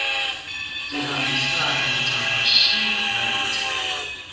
tihambisane ncamashi naleti